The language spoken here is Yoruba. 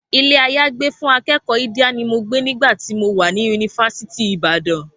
Ilé-àyágbé fún akẹ́kọ̀ọ́ Idia ni mo gbé nígbà tí mo wà ní yunifásítì Ìbàdàn